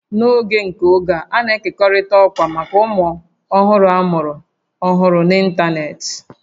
N'oge nke oge a, a na-ekekọrịta ọkwa maka ụmụ ọhụrụ amụrụ ọhụrụ n'ịntanetị